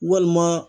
Walima